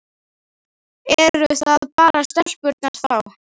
Eru það bara stelpurnar þá?